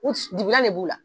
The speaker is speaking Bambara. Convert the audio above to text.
U t dibilan de b'u la